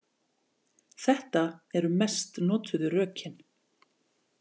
Þetta eru mest notuðu rökin.